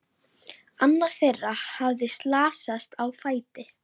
Annar þeirra hafði slasast á fæti.